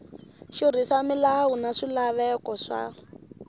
xurhisa milawu na swilaveko swa